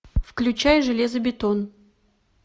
включай железобетон